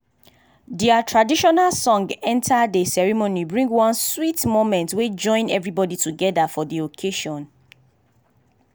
their traditional song enter dey ceremony bring one sweet moment wey join everybody together for dey occasion